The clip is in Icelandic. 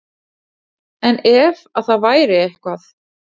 En ef að það væri eitthvað.